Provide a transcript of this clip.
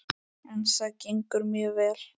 En það gengur mjög vel.